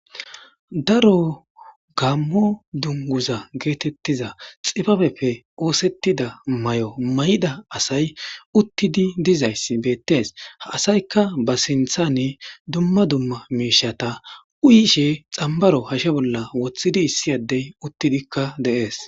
Daro gammo dunguza geetettiza xifabeppe oosettida may'o may'ida asay uttidi dizayssi beettees ha asaykka ba sinthanne dumma dumma miishata uyishe xambaro hashe bolla wothidi issi addey uttidikka deees